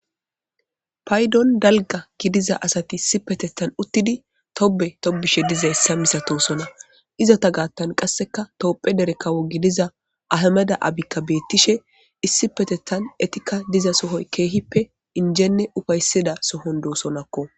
Payiddonni daligga gidizza asati issippeteththan uttidi Tobe tobishe dizayissa misatosonna izeta gattanni qasekka tophphiya dere kawo gidiza ayimeddi abikka betishshe issippeteththan etikka diza soyi kehippe injenne uffayissiza sooni dosokona.